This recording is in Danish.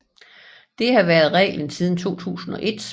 Det har været reglen siden 2001